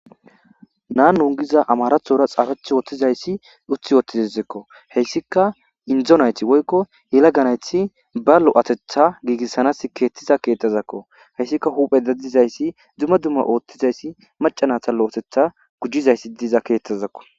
Nanu gizay amaraththora xaafetidayssi utti woththidesikko. Hessikka inddo nayti woykkoyelaga nayti ba lo'ateththa giigisanas keexxiza keeththazakko. Hessikka huphphe dadizayssi dumma dumma ooththizayssi macca nayta lo'oteththa gujjizayssi diza keeththazakko.